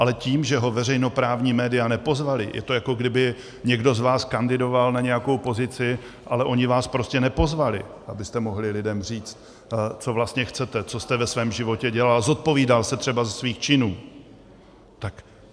Ale tím, že ho veřejnoprávní média nepozvala, je to, jako kdyby někdo z vás kandidoval na nějakou pozici, ale oni vás prostě nepozvali, abyste mohli lidem říct, co vlastně chcete, co jste ve svém životě dělal, zodpovídal se třeba ze svých činů.